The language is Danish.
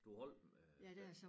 Du holdt den øh